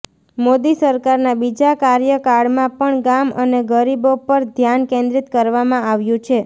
મોદી સરકારના બીજા કાર્યકાળમાં પણ ગામ અને ગરીબો પર ધ્યાન કેન્દ્રીત કરવામાં આવ્યું છે